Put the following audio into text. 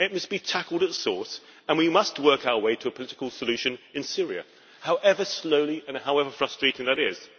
It must be tackled at source, and we must work our way to a political solution in Syria, however slowly and however frustrating that is.